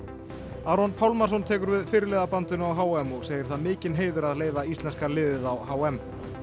Aron Pálmarsson tekur við fyrirliðabandinu á h m og segir það mikinn heiður að leiða íslenska liðið á h m